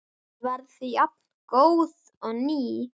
Ég verð jafngóð og ný.